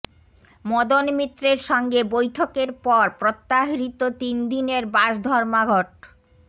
মদন মিত্রের সঙ্গে বৈঠকের পর প্রত্যাহৃত তিনদিনের বাস ধর্মঘট